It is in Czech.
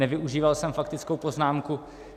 Nevyužíval jsem faktickou poznámku.